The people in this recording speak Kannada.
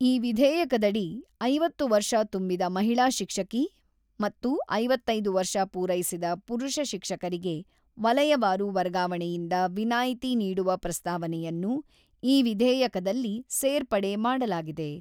ಈ ವಿಧೇಯಕದಡಿ ಐವತ್ತು ವರ್ಷ ತುಂಬಿದ ಮಹಿಳಾ ಶಿಕ್ಷಕಿ ಮತ್ತು ಐವತ್ತೈದು ವರ್ಷ ಪೂರೈಸಿದ ಪುರುಷ ಶಿಕ್ಷಕರಿಗೆ ವಲಯವಾರು ವರ್ಗಾವಣೆಯಿಂದ ವಿನಾಯಿತಿ ನೀಡುವ ಪ್ರಸ್ತಾವನೆಯನ್ನು ಈ ವಿಧೇಯಕದಲ್ಲಿ ಸೇರ್ಪಡೆ ಮಾಡಲಾಗಿದೆ.